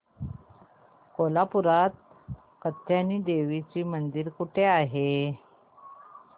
कोल्हापूरात कात्यायनी देवी मंदिर कुठे आहे